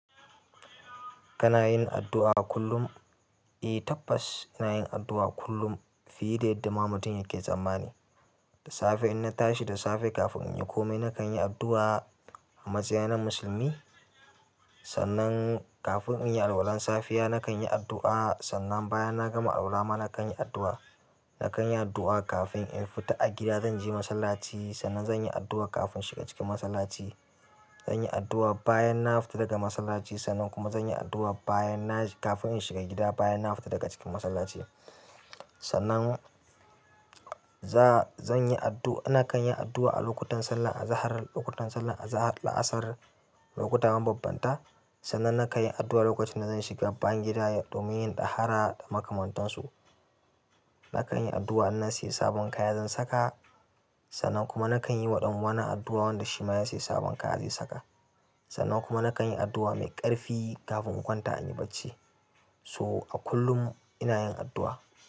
Kana yin addu'a kullum? Eh tabbas ina yin addu'a kullum fiye da yadda ma mutum yake tsammani. Da safe in na tashi, da safe kafin in yi kome nakan yi addu'a a matsayina na musulmi. Sannan kafin in yi alwalan safiya nakan yi addu'a, sannan bayan na gama alwala ma nakan yi addu'a. Nakan yi addu'a kafin in fita a gida, zan je masallaci sannan zan yi addu'a kafin shiga cikin masallaci. Zan yi addu'a bayan na fita daga masallaci sannan kuma zan yi addu'a bayan na, kafin in shiga gida bayan na fita daga cikin masallaci. Sannan za-zan yi addu'a, nakan yi addu'a a lokutan sallar azahar, lokutan sallar azahar da la'asar, lokuta ma babbanta. Sannan nakan yi addu'a lokacin da zan shiga bayan gida domin yin dahara da makamantansu. Nakan yi addu'a in na sayi sabon kaya zan saka, sannan kuma nakan yi wa ɗan uwana addu'a wanda shi ma ya sayi sabon kaya zai saka. Sannan kuma nakan yi addu'a mai ƙarfi kafin in kwanta in yi bacci. So a kullum ina yin addu'a.